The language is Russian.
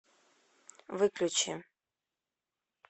выключи